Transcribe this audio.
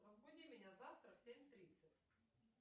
разбуди меня завтра в семь тридцать